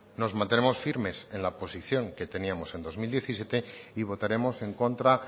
nos mantenemos firmes en la posición que teníamos en dos mil diecisiete y votaremos en contra